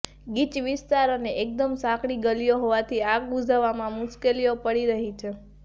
ગીચ વિસ્તાર અને એકદમ સાંકડી ગલીઓ હોવાથી આગ બુઝાવવામાં મુશ્કેલીઓ પડી રહી છે